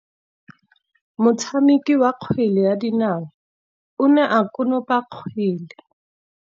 Motshameki wa kgwele ya dinaô o ne a konopa kgwele.